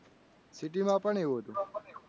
City માં પણ એવું હતું?